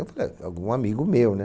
Eu falei, algum amigo meu, né?